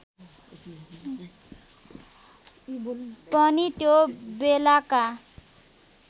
पनि त्यो बेलाका